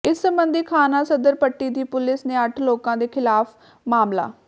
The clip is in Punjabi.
ਇਸ ਸਬੰਧੀ ਥਾਣਾ ਸਦਰ ਪੱਟੀ ਦੀ ਪੁਲਿਸ ਨੇ ਅੱਠ ਲੋਕਾਂ ਦੇ ਖ਼ਿਲਾਫ਼ ਮਾਮਲਾ